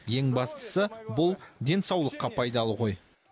ең бастысы бұл денсаулыққа пайдалы ғой